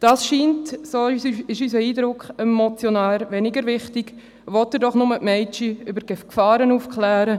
Dies scheint, so ist unser Eindruck, dem Motionär weniger wichtig, will er doch nur die Mädchen über die Gefahren aufklären.